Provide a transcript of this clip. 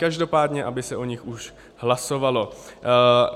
Každopádně aby se o nich už hlasovalo.